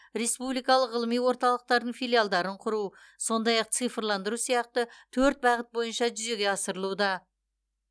республикалық ғылыми орталықтардың филиалдарын құру сондай ақ цифрландыру сияқты төрт бағыт бойынша жүзеге асырылуда